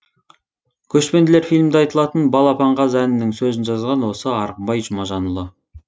көшпенділер фильмінде айтылатын балапан қаз әнінің сөзін жазған осы арғынбай жұмажанұлы